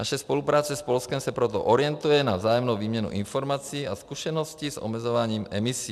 Naše spolupráce s Polskem se proto orientuje na vzájemnou výměnu informací a zkušeností s omezováním emisí.